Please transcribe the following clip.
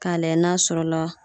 K'a layɛ n'a sɔrɔ la